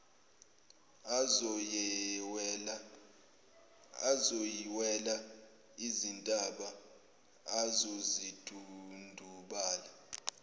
azoyiwela izintaba azozidundubala